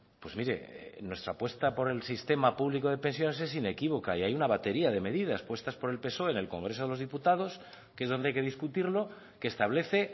pues mire nuestra apuesta por el sistema público de pensiones es inequívoca y hay una batería de medidas puestas por el psoe en el congreso de los diputados que es donde hay que discutirlo que establece